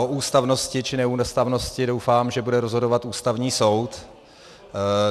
O ústavnosti či neústavnosti doufám, že bude rozhodovat Ústavní soud.